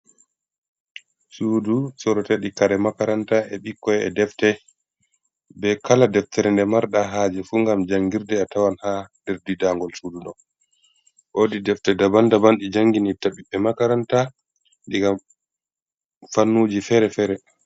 Sudu sorote ɗi kare makaranta e bikkon e defte be kala deftere nde marɗa haje fu ngam jangirde a tawan ha nder didangol sudu do, wodi defte daban daban ɗi janginitta biɓbe makaranta diga fannuji fere-fere.